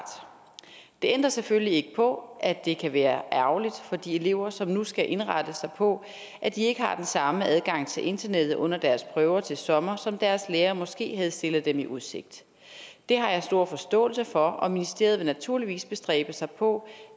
det ændrer selvfølgelig ikke på at det kan være ærgerligt for de elever som nu skal indrette sig på at de ikke har den samme adgang til internettet under deres prøver til sommer som deres lærer måske havde stillet dem i udsigt det har jeg stor forståelse for og ministeriet vil naturligvis bestræbe sig på